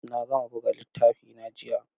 Na gama buga littafina jiya.